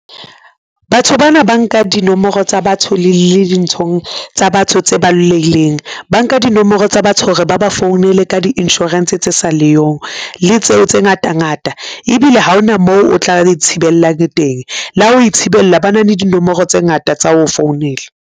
Batho bana ba nka dinomoro tsa batho le dinthong tsa batho tse baloheileng. Ba nka dinomoro tsa batho hore ba ba founele ka di insurance tse sa leyong le tseo tse ngata ngata ebile ha hona moo o tla di thibellang teng le ha ho ithibella ba na le dinomoro tse ngata tsa ho founela.